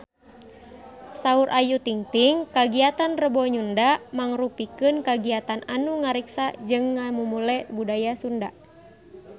Saur Ayu Ting-ting kagiatan Rebo Nyunda mangrupikeun kagiatan anu ngariksa jeung ngamumule budaya Sunda